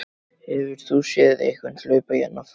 Hefur þú séð einhvern hlaupa hérna fram